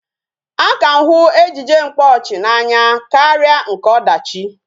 A ka m hụ ejije mkpaọchị n'anya karịa nke ọdachi